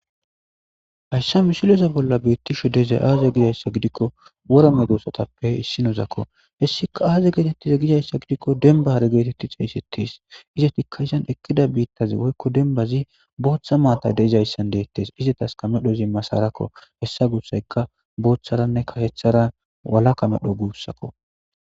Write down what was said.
Hayisan misile bolla betizayisi aze giyaba gidiko wora medosatupe isinozi hesika aze giyaba gidiko demba hare gidika xesetes izetika eqiza bitazi woyiko dembazi botha matayi dizayisa izetika medhozi masarako hesa gusayoka botharanne karethara walaka medho gusako